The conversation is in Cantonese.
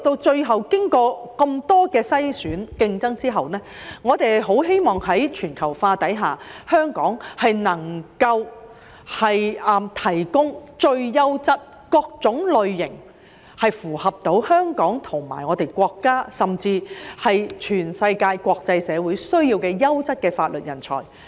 最後，經過那麼多篩選和競爭，我們十分希望在全球化下，香港能夠提供各類最優質、切合香港和國家甚至全世界國際社會需要的優質法律人才。